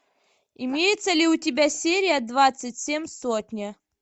имеется ли у тебя серия двадцать семь сотня